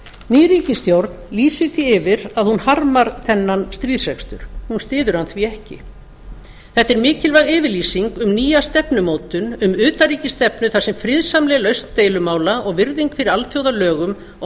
ný ríkisstjórn lýsir því yfir að hún harmar þennan stríðsrekstur hún styður hann því ekki þetta er mikilvæg yfirlýsing um nýja stefnumótun um utanríkisstefnu þar sem friðsamleg lausn deilumála og virðing fyrir alþjóðalögum og